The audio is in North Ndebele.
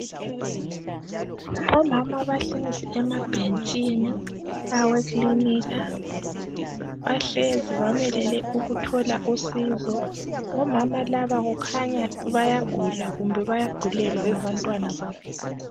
Omama abahlezi emabhentshini awekilinika bahlezi bamelele ukuthola usizo omama laba kukhanya bayagula kumbe bayagulelwa ngabantwana babo